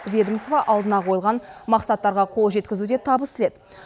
ведомство алдына қойылған мақсаттарға қол жеткізуде табыс тіледі